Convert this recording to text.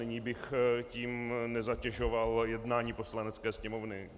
Nyní bych tím nezatěžoval jednání Poslanecké sněmovny.